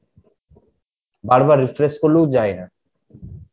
বারবার refresh করলেও যাই না